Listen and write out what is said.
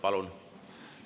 Palun!